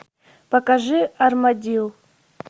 покажи армадилл